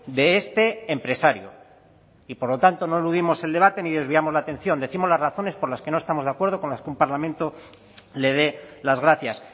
de este empresario y por lo tanto no eludimos el debate ni desviamos la atención décimos las razones por las que no estamos de acuerdo con que un parlamento le dé las gracias